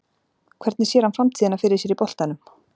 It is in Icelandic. Hvernig sér hann framtíðina fyrir sér í boltanum?